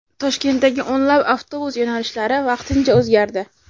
Toshkentdagi o‘nlab avtobus yo‘nalishlari vaqtincha o‘zgardi.